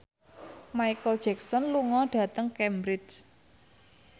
Micheal Jackson lunga dhateng Cambridge